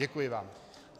Děkuji vám.